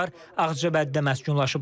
Onlar Ağcabədidə məskunlaşıblar.